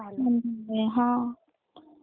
ह.